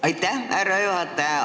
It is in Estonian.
Aitäh, härra juhataja!